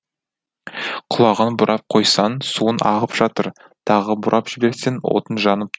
құлағын бұрап қойсаң суың ағып жатыр тағы бұрап жіберсең отың жанып